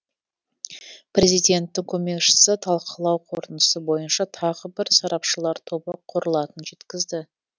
президенттің көмекшісі талқылау қорытындысы бойынша тағы бір сарапшылар тобы құрылатынын жеткізді